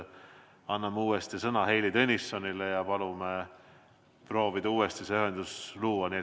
Anname uuesti sõna Heili Tõnissonile ja palume proovida see ühendus luua.